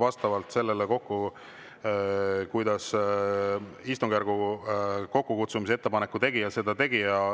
vastavalt sellele kokku, kuidas istungjärgu kokkukutsumise ettepaneku tegija seda tegi.